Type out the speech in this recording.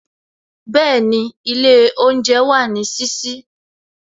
Bẹẹni, ilé oúnjẹ wà ní sísí